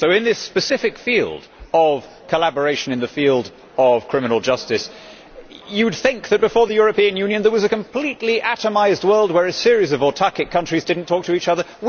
So in this specific field of collaboration in the field of criminal justice, you would think that before the European Union there was a completely atomised world where a series of autarchic countries did not talk to each other.